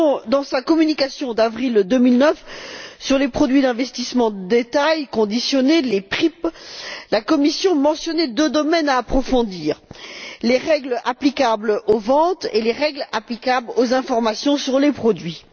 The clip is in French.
Dans sa communication d'avril 2009 sur les produits d'investissement de détail conditionnés les PRIP la Commission mentionnait deux domaines à approfondir les règles applicables aux ventes et les règles applicables aux informations sur les produits.